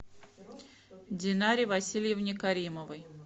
динаре васильевне каримовой